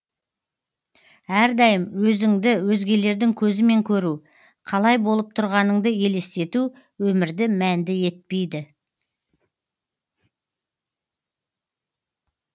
әрдайым өзіңді өзгелердің көзімен көру қалай болып тұрғаныңды елестету өмірді мәнді етпейді